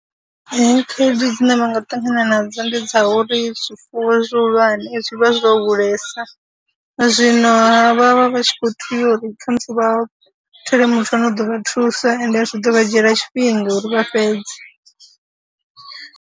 Khaedu dzine vha nga ṱangana nadzo ndi dza uri zwifuwo zwihulwane zwi vha zwo hulesa, zwino vha vha vha vha tshi khou tea uri kha musi vha thole muthu ane u ḓo vha thusa ende zwi ḓo vha dzhiela tshifhinga uri vha fhedze.